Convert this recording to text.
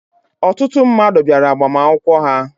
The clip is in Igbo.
Ọtụtụ mmadụ bịara agbamakwụkwọ ha.